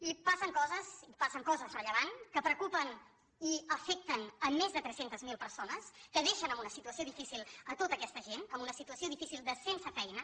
i passen coses i passen coses rellevants que preocupen i afecten més de tres cents miler persones que deixen en una situació difícil tota aquesta gent en una situació difícil de sense feina